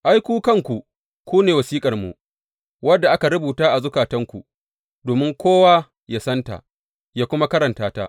Ai, ku kanku ku ne wasiƙarmu, wadda aka rubuta a zukatanku, domin kowa yă santa, yă kuma karanta ta.